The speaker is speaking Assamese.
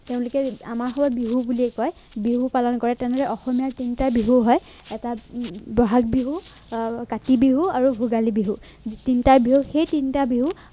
তেওঁলোকে আমাৰ সুৰত বিহু বুলিয়েই কয় বিহু পালন কৰে তেনেহলে অসমীয়াৰ তিনিটা বিহু হয় এটা বহাগ বিহু আহ কাতি বিহু আৰু ভোগালী বিহু তিনটা বিহু সেই তিনটা বিহু